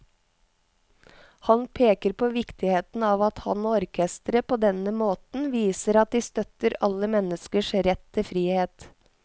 Han peker på viktigheten av at han og orkesteret på denne måten viser at de støtter alle menneskers rett til frihet.